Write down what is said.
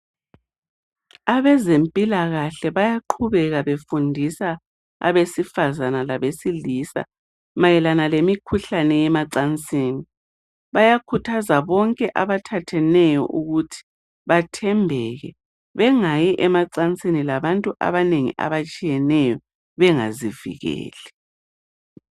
Abezempilakahle bayaqhubeka befundisa abesifazana kanye labesilisa mayelana lemikhuhlane yemacansini. Bayakhuthaza bonke abathatheneyo ukuthi bathembeke, bengayi emacasini labantu abanengi abatshiyeneyo bengazivikeli.